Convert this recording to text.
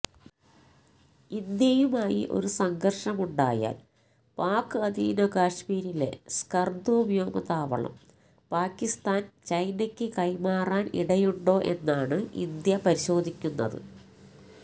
ഇന്ത്യയുമായി ഒരു സംഘര്ഷമുണ്ടായാല് പാക് അധീന കശ്മീരിലെ സ്കര്ദു വ്യോമതാവളം പാകിസ്താന് ചൈനയ്ക്ക് കൈമാറാന് ഇടയുണ്ടോ എന്നാണ് ഇന്ത്യ പരിശോധിക്കുന്നത്